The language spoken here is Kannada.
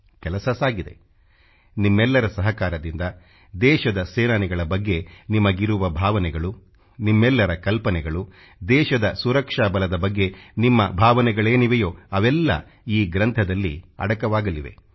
ಕೆಲಸ ಸಾಗಿದೆ ನಿಮ್ಮೆಲ್ಲರ ಸಹಕಾರದಿಂದ ದೇಶದ ಸೇನಾನಿಗಳ ಬಗ್ಗೆ ನಿಮಗಿರುವ ಭಾವನೆಗಳು ನಿಮ್ಮಲ್ಲರ ಕಲ್ಪನೆಗಳು ದೇಶದ ಸುರಕ್ಷಾ ಬಲದ ಬಗ್ಗೆ ನಿಮ್ಮ ಭಾವನೆಗಳೇನಿವೆಯೋ ಅವೆಲ್ಲ ಈ ಗ್ರಂಥದಲ್ಲಿ ಅಡಕವಾಗಲಿವೆ